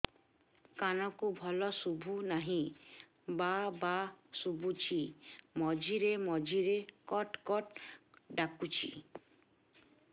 କାନକୁ ଭଲ ଶୁଭୁ ନାହିଁ ଭାଆ ଭାଆ ଶୁଭୁଚି ମଝିରେ ମଝିରେ କଟ କଟ ଡାକୁଚି